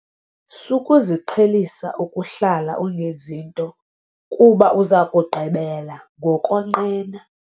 Sukuziqhelisa ukuhlala ungenzi nto kuba uza kugqibela ngokonqena.